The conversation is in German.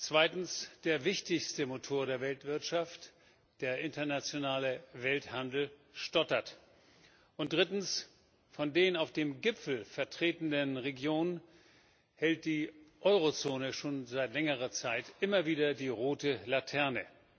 Zweitens Der wichtigste Motor der Weltwirtschaft, der internationale Welthandel, stottert. Und drittens Von den auf dem Gipfel vertretenen Regionen hält die Eurozone schon seit längerer Zeit immer wieder die rote Laterne.